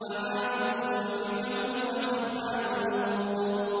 وَعَادٌ وَفِرْعَوْنُ وَإِخْوَانُ لُوطٍ